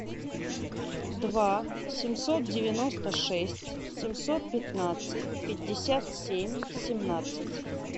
два семьсот девяносто шесть семьсот пятнадцать пятьдесят семь семнадцать